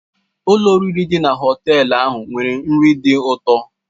Ụlọ oriri dị na họtel ahụ nwere nri dị ụtọ.